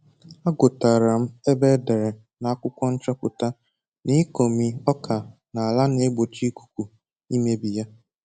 Agụtara m ebe edere na akwụkwọ nchọpụta na ịkọmi ọka na ala na-egbochi ikuku imebi ya